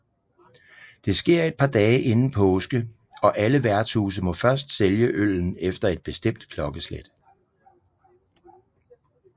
Det sker et par dage inden påske og alle værtshuse må først sælge øllen efter et bestemt klokkeslæt